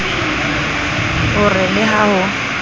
o re le ha ho